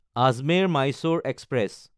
আজমেৰ–মাইছ'ৰ express